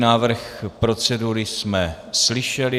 Návrh procedury jsme slyšeli.